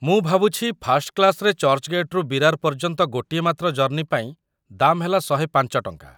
ମୁଁ ଭାବୁଛି ଫାର୍ଷ୍ଟ କ୍ଲାସ୍‌‌ରେ ଚର୍ଚ୍ଚ୍‌ଗେଟ୍‌ରୁ ବିରାର ପର୍ଯ୍ୟନ୍ତ ଗୋଟିଏ ମାତ୍ର ଜର୍ଣ୍ଣି ପାଇଁ ଦାମ୍‌ ହେଲା ୧୦୫ ଟଙ୍କା ।